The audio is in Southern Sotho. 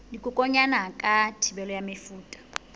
dikokwanyana ka thibelo ya mefuta